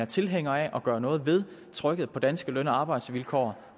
tilhænger af at gøre noget ved trykket på danske løn og arbejdsvilkår